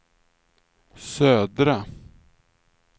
södra